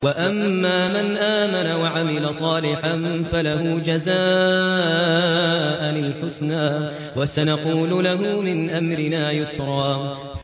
وَأَمَّا مَنْ آمَنَ وَعَمِلَ صَالِحًا فَلَهُ جَزَاءً الْحُسْنَىٰ ۖ وَسَنَقُولُ لَهُ مِنْ أَمْرِنَا يُسْرًا